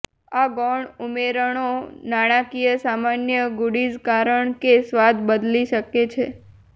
આ ગૌણ ઉમેરણો નાટકીય સામાન્ય ગુડીઝ કારણ કે સ્વાદ બદલી શકે છે